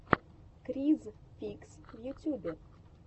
криз фикс в ютюбе